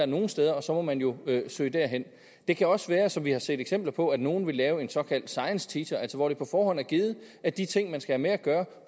nogle steder og så må man jo søge derhen det kan også være som vi har set eksempler på at nogle vil lave en såkaldt science teacher uddannelse altså hvor det på forhånd er givet at de ting man skal have med at gøre